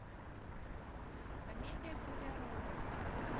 комедия с джулия робертс